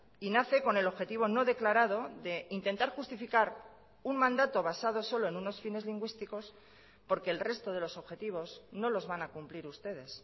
y nace con el objetivo no declarado de intentar justificar un mandato basado solo en unos fines lingüísticos porque el resto de los objetivos no los van a cumplir ustedes